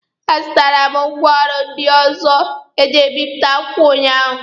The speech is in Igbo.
A zụtara m ngwaọrụ ndị ọzọ eji ebipụta akwụkwọ ụnyaahụ.